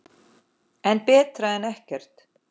En betra en ekkert.